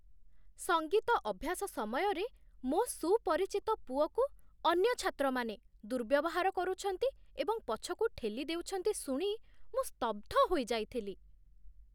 ସଙ୍ଗୀତ ଅଭ୍ୟାସ ସମୟରେ ମୋ ସୁପରିଚିତ ପୁଅକୁ ଅନ୍ୟ ଛାତ୍ରମାନେ ଦୁର୍ବ୍ୟବହାର କରୁଛନ୍ତି ଏବଂ ପଛକୁ ଠେଲି ଦେଉଛନ୍ତି ଶୁଣି ମୁଁ ସ୍ତବ୍ଧ ହୋଇଯାଇଥିଲି।